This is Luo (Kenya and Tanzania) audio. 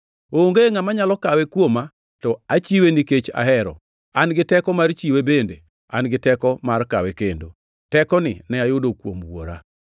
Onge ngʼama nyalo kawe kuoma, to achiwe nikech ahero. An gi teko mar chiwe bende an gi teko mar kawe kendo. Tekoni ne ayudo kuom Wuora.”